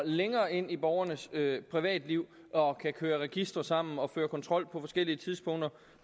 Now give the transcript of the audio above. længere ind i borgernes privatliv og køre registre sammen og føre kontrol på forskellige tidspunkter